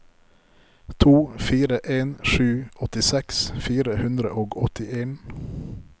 to fire en sju åttiseks fire hundre og åttien